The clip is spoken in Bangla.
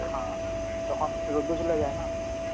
হা, তখন রোদ্দুর চলে যায় না.